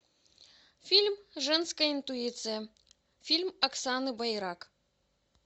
фильм женская интуиция фильм оксаны байрак